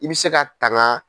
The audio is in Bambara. I bɛ se ka tanga